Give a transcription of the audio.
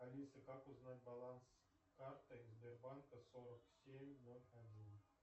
алиса как узнать баланс карты сбербанка сорок семь ноль один